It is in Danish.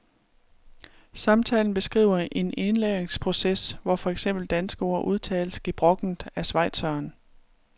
Samtalen beskriver en indlæringsproces, hvor for eksempel danske ord udtales gebrokkent af schweizeren.